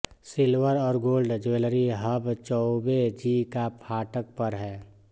silver और gold jewellery hub Chaube ji का फाटक पर है